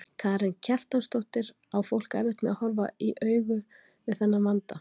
Karen Kjartansdóttir: Á fólk erfitt með að horfast í augu við þennan vanda?